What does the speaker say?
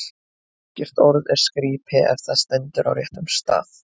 Ekkert orð er skrípi, ef það stendur á réttum stað.